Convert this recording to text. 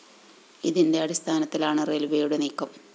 ഇതിന്റെ അടിസ്ഥാനത്തിലാണ് റെയില്‍വേയുടെ നീക്കം